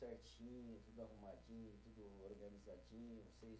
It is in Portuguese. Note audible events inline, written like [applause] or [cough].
[unintelligible] tudo arrumadinho, tudo organizadinho. [unintelligible]